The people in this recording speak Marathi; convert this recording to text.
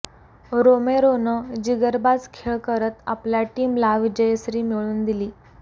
रोमेरोनं जिगरबाज खेळ करत आपल्या टीमला विजयश्री मिळवून दिली